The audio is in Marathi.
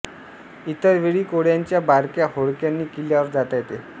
इतर वेळी कोळ्यांच्या बारक्या होडक्यांनी किल्ल्यावर जाता येते